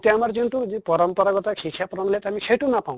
এতিয়া আমাৰ যনটো পৰম্পৰাগত শিক্ষা প্ৰণালীত আমি সেইটো নাপাওঁ